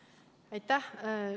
Aitäh!